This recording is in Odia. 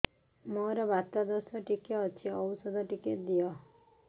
ମୋର୍ ବାତ ଦୋଷ ଟିକେ ଅଛି ଔଷଧ ଟିକେ ଦିଅ